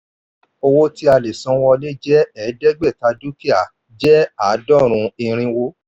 owó tí a lè san wọlé jẹ́ ẹ̀ẹ́dẹ́gbẹ̀ta dúkìá jẹ́ àádọ́rùn irínwó.